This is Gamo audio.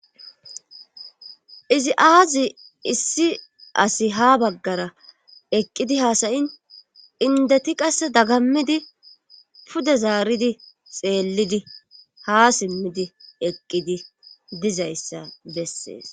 Izi aazi issi asi ha baggara eqqidi haasayin indeti qasse dagammidi pude zaaridi xeellidi ha simmidi eqqidi dizayssa bessees.